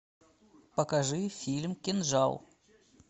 покажи фильм кинжал